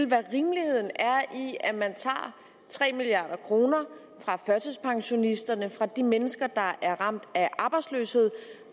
hvad rimeligheden er i at man tager tre milliard kroner fra førtidspensionisterne og fra de mennesker der er ramt af arbejdsløshed